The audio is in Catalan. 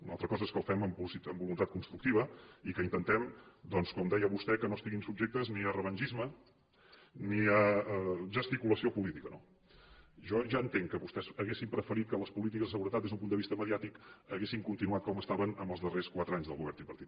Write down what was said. una altra cosa és que ho fem amb voluntat constructiva i que intentem doncs com deia vostè que no estiguin subjectes ni a revengisme ni a gesticulació política no jo ja entenc que vostès haurien preferit que les polítiques de seguretat des d’un punt de vista mediàtic haguessin continuat com estaven en els darrers quatre anys del govern tripartit